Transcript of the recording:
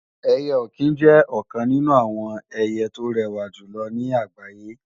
Ẹyẹ-ọ̀kín jẹ́ ọ̀kan nínú àwọn ẹyẹ tó rẹwà jùlọ ní àgbáyé